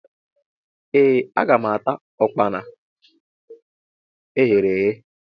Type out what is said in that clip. Ee aga m ata Ụkpana eghere eghe.